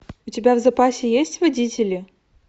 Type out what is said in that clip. у тебя в запасе есть водители